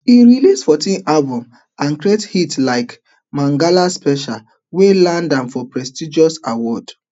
e release fourteen albums and create hits like mangala special wey land am prestigious award